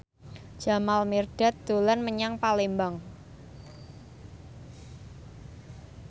Jamal Mirdad dolan menyang Palembang